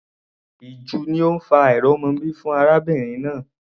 Ìju ni ó ń fa àìrọ́mọbí fún arábìnrin náà.